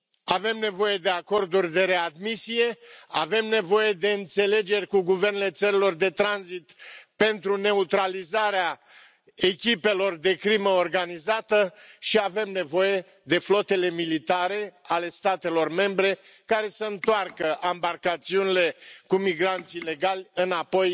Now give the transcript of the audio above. Avem nevoie de acorduri de readmisie, avem nevoie de înțelegeri cu guvernele țărilor de tranzit pentru neutralizarea echipelor de crimă organizată și avem nevoie de flotele militare ale statelor membre care să întoarcă ambarcațiunile cu migranți ilegali înapoi